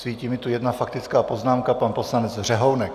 Svítí mi tu jedna faktická poznámka, pan poslanec Řehounek.